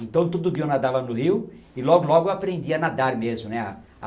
Então, todo dia eu nadava no rio e logo, logo eu aprendia a nadar mesmo, né?